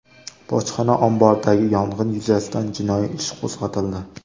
Bojxona omboridagi yong‘in yuzasidan jinoiy ish qo‘zg‘atildi.